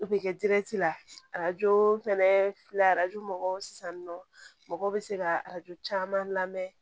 O bɛ kɛ la arajo fɛnɛ filɛ arajo mɔgɔw sisan nɔ mɔgɔw bɛ se ka arajo caman lamɛn